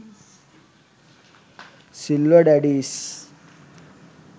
silver daddies